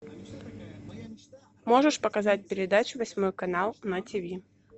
можешь показать передачу восьмой канал на тиви